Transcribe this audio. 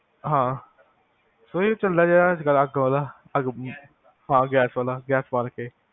ਹਾਂ ਓਹਨੀ ਚਲਾ ਜਿਹਾ ਅੱਗ ਵਾਲਾ ਗੈਸ ਬਾਲ ਕੇ, ਹਾਂ ਗੈਸ ਵਾਲਾ